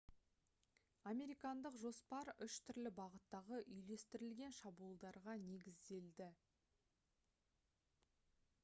американдық жоспар үш түрлі бағыттағы үйлестірілген шабуылдарға негізделді